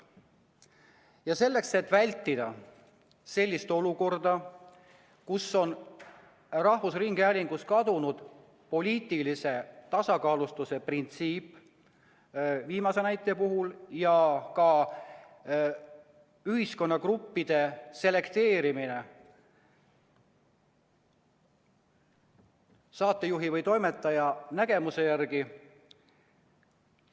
vältida sellist olukorda, et rahvusringhäälingus kaob poliitilise tasakaalustatuse printsiip ja ühiskonnagruppe selekteeritakse saatejuhi või toimetaja nägemuse järgi.